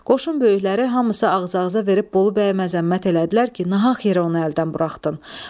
Qoşun böyükləri hamısı ağz-ağıza verib Bolu bəyə məzəmmət elədilər ki, nahaq yerə onu əldən buraxdın.